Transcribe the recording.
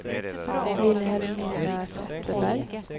Vilhelmina Zetterberg